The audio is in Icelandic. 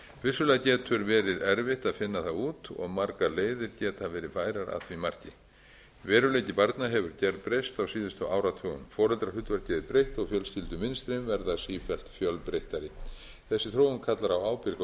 vissulega getur verið erfitt að finna það út og margar leiðir geta verið færar að því marki veruleiki barna hefur breyst á síðustu áratugum foreldrahlutverkið er breytt og fjölskyldumynstrin verða sífellt fjölbreyttari þessi þróun kallar á ábyrga umræðu sem ég